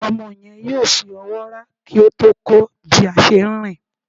Omo yen yóò fí ọwọ rà ki o tó kó bi a se rín